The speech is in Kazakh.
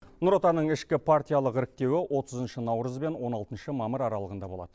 нұр отанның ішкі партиялық іріктеуі отызыншы наурыз бен он алтыншы мамыр аралығында болады